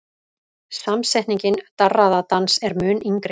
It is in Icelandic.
Samsetningin darraðardans er mun yngri.